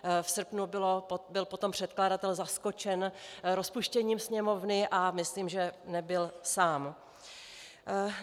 V srpnu byl potom předkladatel zaskočen rozpuštěním Sněmovny a myslím, že nebyl sám.